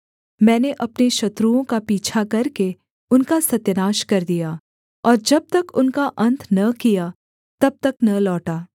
मैंने अपने शत्रुओं का पीछा करके उनका सत्यानाश कर दिया और जब तक उनका अन्त न किया तब तक न लौटा